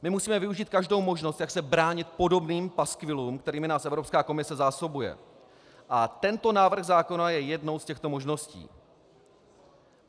My musíme využít každou možnost, jak se bránit podobným paskvilům, kterými nás Evropská komise zásobuje, a tento návrh zákona je jednou z těchto možností.